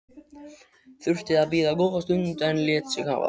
Þurfti að bíða góða stund en lét sig hafa það.